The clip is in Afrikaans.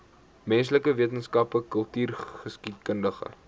menslike wetenskappe kultureelgeskiedkundige